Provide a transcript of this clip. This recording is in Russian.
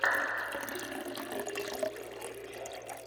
есть ли у тебя фильм с актером джеки чаном